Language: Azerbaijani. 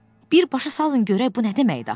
Birbaşa salın görək bu nə deməkdir axı?